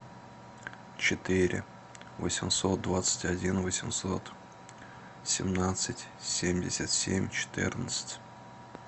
четыре восемьсот двадцать один восемьсот семнадцать семьдесят семь четырнадцать